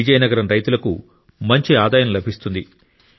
విజయనగరం రైతులకు మంచి ఆదాయం లభిస్తుంది